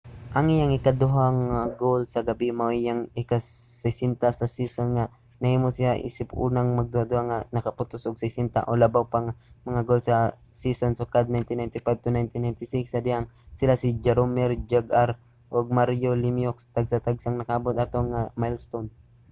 ang iyang ikaduhang goal sa gabie mao ang iyang ika-60 sa season ang naghimo sa iya isip unang magduduwa nga nakapuntos og 60 o labaw pa nga mga goal sa usa ka season sukad 1995-96 sa dihang sila si jaromir jagr ug mario lemieux tagsa-tagsang nakaabot ato nga milestone